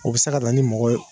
O bɛ se ka na ni mɔgɔ ye.